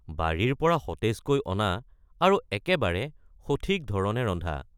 বাৰীৰ পৰা সতেজকৈ অনা আৰু একেবাৰে সঠিক ধৰণে ৰন্ধা।